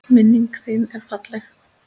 Minning þin er falleg.